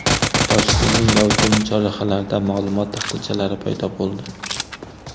Toshkentning gavjum chorrahalarida ma’lumot taxtachalari paydo bo‘ldi.